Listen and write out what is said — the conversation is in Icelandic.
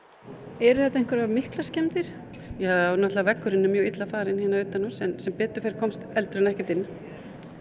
eru þetta miklar skemmdir ja veggurinn er mjög illa farinn hérna utanhúss en sem betur fer komst eldurinn ekkert inn